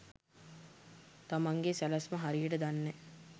තමන්ගෙ සැලැස්ම හරියට දන්නෑ.